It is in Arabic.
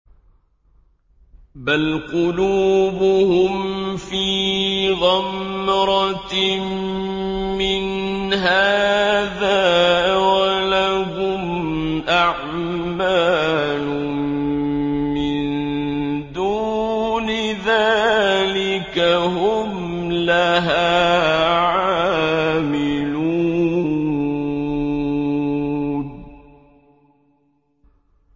بَلْ قُلُوبُهُمْ فِي غَمْرَةٍ مِّنْ هَٰذَا وَلَهُمْ أَعْمَالٌ مِّن دُونِ ذَٰلِكَ هُمْ لَهَا عَامِلُونَ